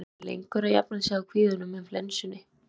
Hann hafði verið lengur að jafna sig á kvíðanum en flensunni.